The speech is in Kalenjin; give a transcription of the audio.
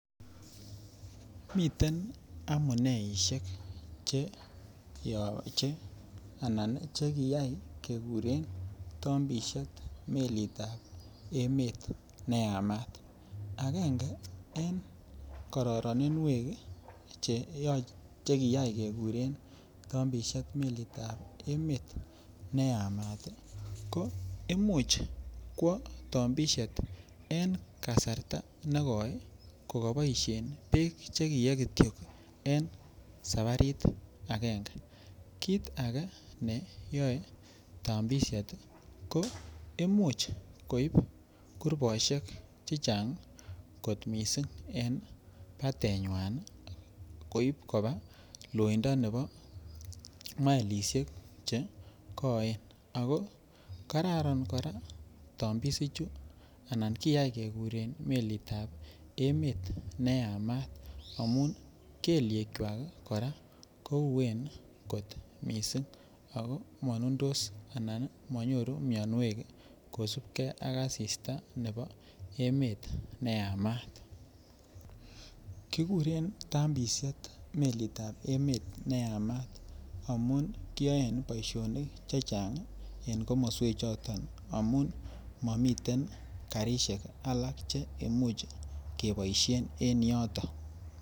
Miten amuneisiek chekiyai keguren tambisiet melitab emet ne Yamat agenge en kororinwek chekiyai keguren tambisiet melitab emet ne Yamat ii ko Imuch kwo tambisiet en kasarta ne koi ko koboisien Kityo Beek Che kiyee en sabarit agenge kit age ne yoe tambisiet ko Imuch ko Ib kurbosiek chechang kot mising en batenyin koba loindo nebo maelisiek Che koen ako kororon kora tambisichu anan kiyai keguren melitab emet ne Yamat amun kelyekwak kora kou uueen kot mising anan monundus anan monyoru mianwek kosubkei ak asista nebo emet ne Yamat kiguren tambisiet melitab emet ne Yamat amun kiyoen boisionik chechang en komosata amun mamiten karisiek alak Che Imuch keboisien en yoto.